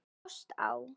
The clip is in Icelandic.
Ást á